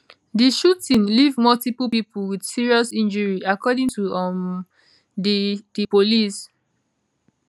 di shooting leave multiple pipo wit serious injury according to um di di police